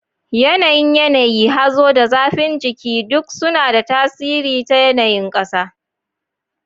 Yanayin yanayi, hazo, da zafin jiki duk suna da tasiri ta yanayin ƙasa.